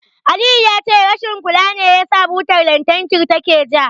Aliyu ya ce rashin kula ne yasa butar lantarkin take ja.